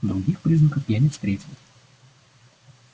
других признаков я не встретил